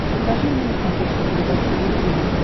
покажи мне на смотрешке передачу ру ти ви